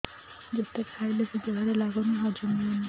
ଯେତେ ଖାଇଲେ ବି ଦେହରେ ଲାଗୁନି ହଜମ ହଉନି